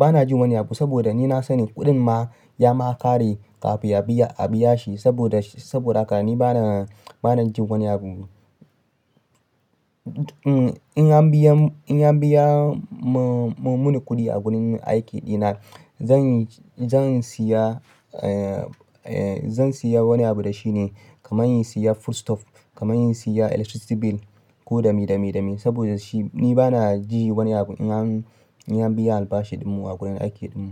bana jin wani abu, saboda ni na, sani kuɗin ma ya makare kafin a biya shi saboda haka ni bana ji wani abu. In an biya mini kuɗi a gurin aiki ɗina zan siya wani abu da shine kamar in siya foodstuff, kamar in siya electricity bill ko da mi, da mi, da mi saboda shi ni bana ji wani abu in an biya albashi ɗinmu a gurin aiki ɗinmu.